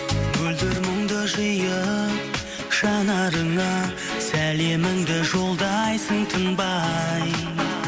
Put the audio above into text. мөлдір мұңды жиып жанарыңа сәлеміңді жолдайсың тынбай